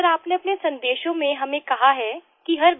sir आपने अपने संदेशों में हमें कहा है कि हर